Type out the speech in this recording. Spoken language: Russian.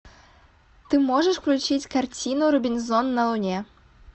ты можешь включить картину робинзон на луне